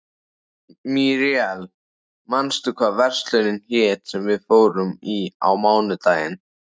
Míríel, manstu hvað verslunin hét sem við fórum í á mánudaginn?